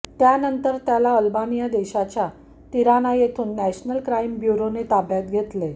त्यानंतर त्याला अल्बानिया देशाच्या तिराना येथून नॅशनल क्राईम ब्युरोने ताब्यात घेतेल